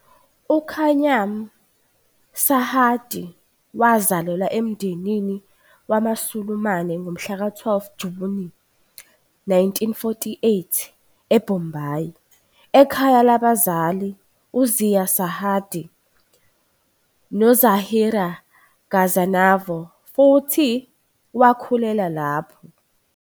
UKhayyam Sarhadi wazalelwa emndenini wamaSulumane ngomhlaka 12 Juni 1948 eBombay, ekhaya labazali uZia Sarhadi noZahira Ghaznavi futhi wakhulela lapho.